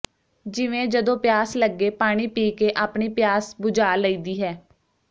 ਜਿਵੇਂ ਜਦੋਂ ਪਿਆਸ ਲਗੇ ਪਾਣੀਂ ਪੀਕੇ ਆਪਣੀਂ ਪਿਆਸ ਬੁਝਾ ਲਈਦੀ ਹੈ